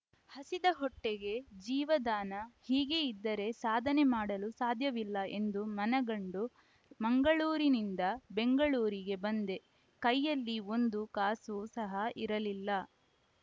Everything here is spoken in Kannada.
ಹಸಿದ ಹೊಟ್ಟೆಗೆ ಜೀವದಾನ ಹೀಗೆ ಇದ್ದರೆ ಸಾಧನೆ ಮಾಡಲು ಸಾಧ್ಯವಿಲ್ಲ ಎಂದು ಮನಗಂಡು ಮಂಗಳೂರಿನಿಂದ ಬೆಂಗಳೂರಿಗೆ ಬಂದೆ ಕೈಯಲ್ಲಿ ಒಂದು ಕಾಸೂ ಸಹ ಇರಲಿಲ್ಲ